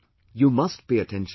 You must pay attention to that